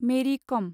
मेरि खम